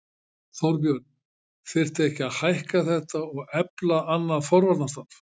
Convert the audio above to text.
Þorbjörn: Þyrfti ekki að hækka þetta og efla annað forvarnarstarf?